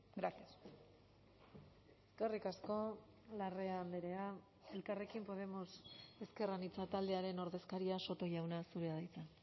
gracias eskerrik asko larrea andrea elkarrekin podemos ezker anitza taldearen ordezkaria soto jauna zurea da hitza